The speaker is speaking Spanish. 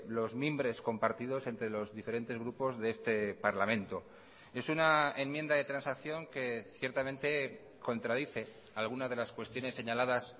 los mimbres compartidos entre los diferentes grupos de este parlamento es una enmienda de transacción que ciertamente contradice algunas de las cuestiones señaladas